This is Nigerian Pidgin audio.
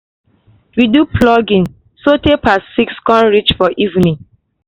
we do pluging so tay pass six con reach for evening